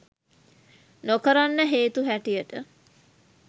නොකරන්න හේතු හැටියට